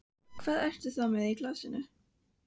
Hvað ertu þá með í glasinu?